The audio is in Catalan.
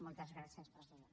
moltes gràcies presidenta